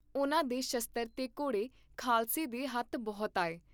ਉਹਨਾਂ ਦੇ ਸ਼ਸਤ੍ਰ ਤੇ ਘੋੜੇ ਖਾਲਸੇ ਦੇ ਹੱਥ ਬਹੁਤ ਆਏ।